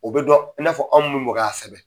O bɛ dɔn i n'a fɔ aw minnu bɛ ka sɛbɛn.